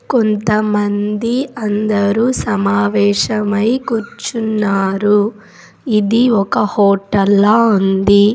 కొంతమంది అందరూ సమావేశమై కూర్చున్నారు ఇది ఒక హోటల్ లా ఉంది .